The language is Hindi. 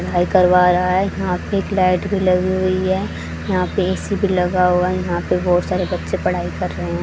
करवा रहा है यहां पे एक लाईट भी लगी हुई है यहां पे ए_सी भी लगा हुआ यहां पे बहोत सारे बच्चे पढाई कर रहे हैं।